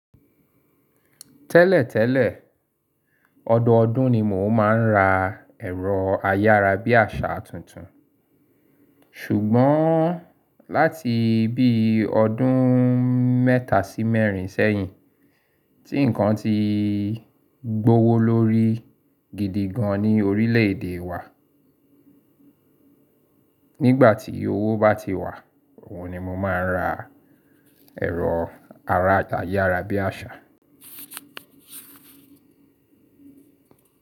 Tẹ́lẹ̀tẹ́lẹ̀ ọdọọdún ni mò máa ń ra ẹ̀rọ ayárabíàṣá tuntun, ṣùgbọ́n láti bí i ọdún mẹ́ta sí mẹ́rin sẹ́yìn tí nǹkan ti gbówó lórí gidigan ní orílẹ̀ èdè wa. Nígbà tí owó bá ti wà, òhun ni mo máa ra ẹ̀rọ ayárabíàṣá.